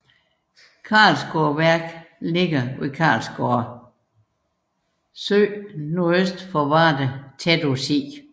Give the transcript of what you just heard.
Karlsgårdeværket ligger ved Karlsgårde Sø nordøst for Varde tæt på Sig